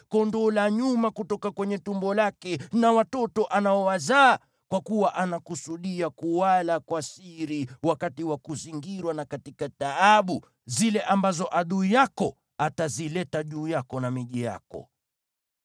kondoo wa nyuma kutoka kwenye tumbo lake na watoto anaowazaa. Kwa kuwa anakusudia kuwala kwa siri wakati wa kuzingirwa na katika taabu zile ambazo adui yako atazileta juu yako na miji yako.